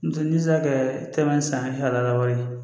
N'o tɛ n'i sera kɛ tɛmɛnen san ni halala wari ye